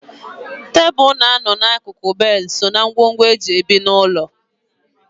Tebụl na-anọ n'akụkụ so ná ngwongwo e ji ebi n'ụlọ.